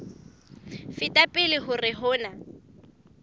feta pele hore ho na